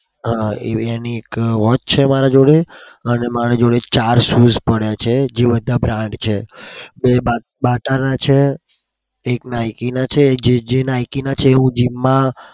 એક watch છે મારા જોડે અને મારા જોડે ચાર shoes પડ્યા છે. બે BATA ના છે. Nike ના છે. એક j j Nike ના છે. એ હું gym માં